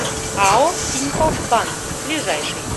ао тинькофф банк ближайший